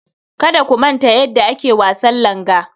Kada ku manta yadda ake wasan langa.